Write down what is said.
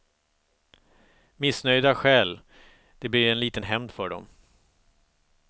Missnöjda stjäl, det blir en liten hämnd för dem.